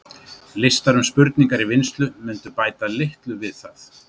listar um spurningar í vinnslu mundu litlu bæta við það